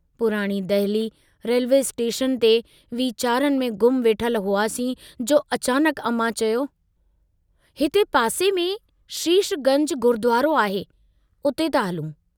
पुराणी Delhi railway station ते वीचारनि में गुम वेठल हुआसीं, जो अचानकु अमां चयो, हिते पासे में शीश गंज गुरुद्वारो आहे उते था हलूं।